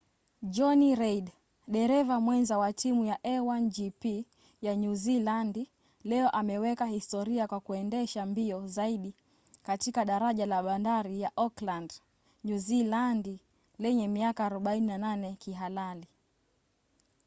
johnny reid dereva mwenza wa timu ya a1gp ya nyuzilandi leo ameweka historia kwa kuendesha mbio zaidi katika daraja la bandari ya auckland nyuzilandi lenye miaka 48 kihalali